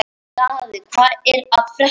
Þeir ættu að sjá til hans núna.